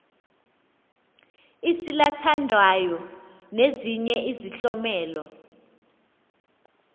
isalathandawo nezinye izihlomelo